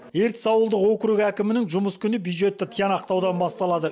ертіс ауылдық округі әкімінің жұмыс күні бдюжетті тиянақтаудан басталды